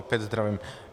Opět zdravím.